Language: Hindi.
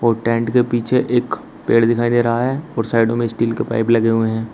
और टेंट के पीछे एक पेड़ दिखाई दे रहा है और साइडों में स्टील के पाइप लगे हुए है।